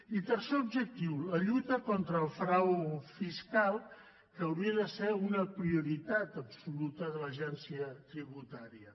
i tercer objectiu la lluita contra el frau fiscal que hauria de ser una prioritat absoluta de l’agència tributària